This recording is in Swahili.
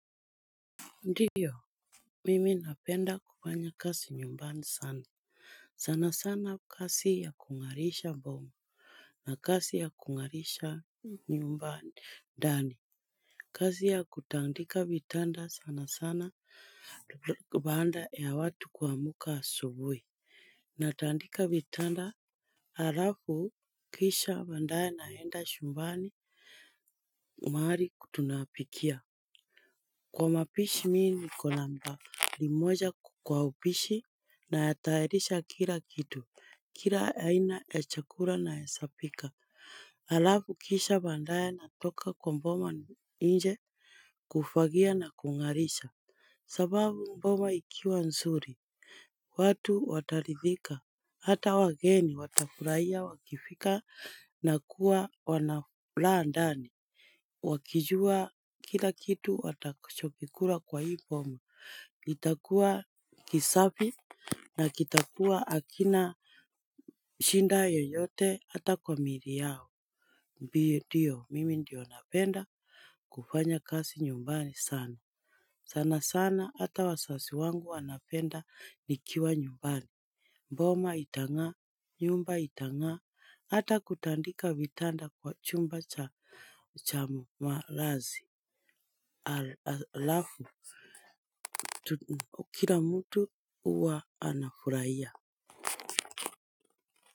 Ndiyo, mimi napenda kufanya kazi nyumbani sana, sana sana kazi ya kung'arisha boma na kazi ya kung'arisha nyumbani, ndani. Kazi ya kutandika vitanda sana sana baada ya watu kuamka asubuhi, natandika vitanda halafu kisha baadaye naenda chumbani mahali tunapikia. Kwa mapishi mimi niko nambari moja kwa upishi natayarisha kila kitu, kila aina ya chakula naweza pika. Halafu kisha baadaye natoka kwa boma nje kufagia na kung'arisha. Sababu boma ikiwa nzuri, watu wataridhika, hata wageni watafurahia wakifika na kuwa wanafuraha ndani. Wakijua kila kitu watakachokikula kwa hii boma, itakuwa kisafi na kitakuwa hakina shinda yoyote hata kwa miili yao ndiyo, mimi ndiyo napenda kufanya kazi nyumbani sana, sana sana hata wazazi wangu wanapenda nikiwa nyumbani boma itang'aa, nyumba itang'aa, hata kutandika vitanda kwa chumba cha malazi halafu kila mtu huwa anafurahia.